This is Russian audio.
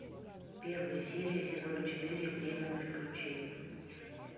первая серия сезон четыре время приключений